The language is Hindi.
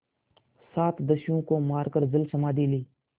सात दस्युओं को मारकर जलसमाधि ली